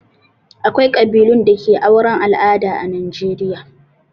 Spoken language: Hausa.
Akwai ƙabilun da ke auren al'ada a Najeriya.